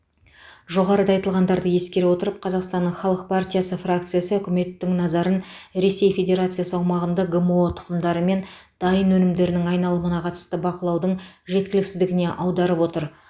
жоғарыда айтылғандарды ескере отырып қазақстанның халық партиясы фракциясы үкіметтің назарын ресей федерациясы аумағында гмо тұқымдары мен дайын өнімдерінің айналымына қатысты бақылаудың жеткіліксіздігіне аударып отыр